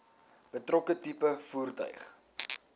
betrokke tipe voertuig